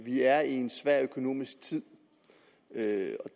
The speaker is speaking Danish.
vi er i en svær økonomisk tid